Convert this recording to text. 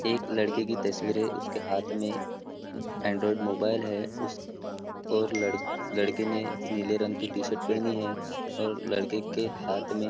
एक लड़के की तस्वीर है उसके हाथ में एंडरोइड मोबाइल है उस और ल लड़के ने नीले रंग की टी शर्ट पहनी है और लड़के के हाथ में --